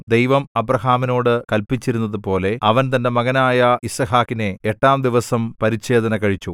ദൈവം അബ്രാഹാമിനോട് കല്പിച്ചിരുന്നതുപോലെ അവൻ തന്റെ മകനായ യിസ്ഹാക്കിനെ എട്ടാം ദിവസം പരിച്ഛേദന കഴിച്ചു